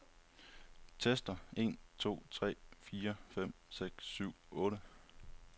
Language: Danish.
Tester en to tre fire fem seks syv otte.